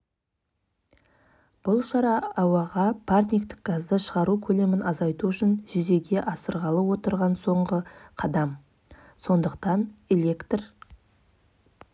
ал тоқтар әлімбеков мичиган штатында бизнес саласы бойынша білім алған ай бұрын елге оралған жастағы жас кәсіпкер шымкенттен ерлер шаштаразын ашады